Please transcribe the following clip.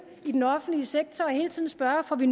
i den offentlige sektor og hele tiden spørge om vi